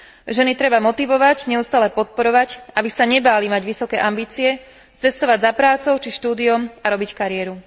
Ženy treba motivovať, neustále podporovať, aby sa nebáli mať vysoké ambície, cestovať za prácou či štúdiom, a robiť kariéru.